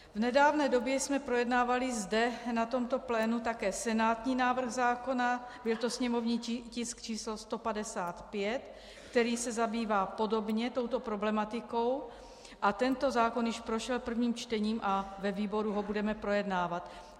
V nedávné době jsme projednávali zde, na tomto plénu, také senátní návrh zákona, byl to sněmovní tisk číslo 155, který se zabývá podobně touto problematikou, a tento zákon již prošel prvním čtením a ve výboru ho budeme projednávat.